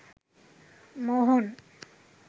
মোহন